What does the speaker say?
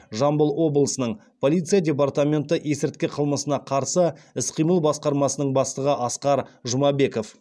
жамбыл облысының полиция департаменті есірткі қылмысына қарсы іс қимыл басқармасының бастығы асқар жұмабеков